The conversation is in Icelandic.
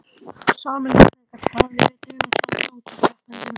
Sami leikurinn gat staðið yfir dögum saman með ótal keppendum.